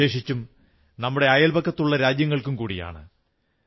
വിശേഷിച്ചും നമ്മുടെ അയൽപക്കത്തുള്ള രാജ്യങ്ങൾക്കും കൂടിയാണ്